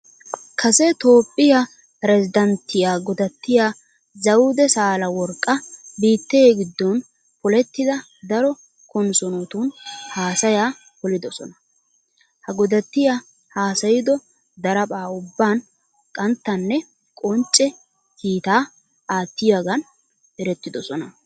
Kase toophphiya pirezddanttiya godattiya zawude saaleworqqa biittee giddon polettida daro konssoonotun haasayaa polidosona. Ha godattiya haasayido daraphpha ubban qanttanne qoncce kiitaa aattiyogan erettoosona.